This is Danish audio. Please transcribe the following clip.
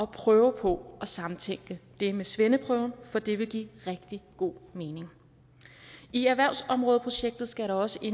prøve på at samtænke det med svendeprøven for det vil give rigtig god mening i erhvervsområdeprojektet skal der også